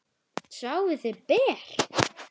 Sváfuð þið ber?